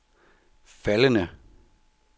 faldende